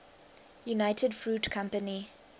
united fruit company